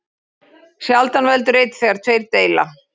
Sjaldan veldur einn þegar tveir deila.